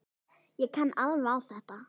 Ég kann alveg á þetta.